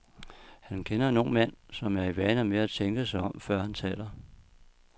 Han kender en ung mand, som er i vane med at tænke sig om, før han taler.